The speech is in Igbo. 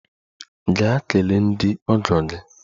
Gaa kelee ndị ọgọ gị!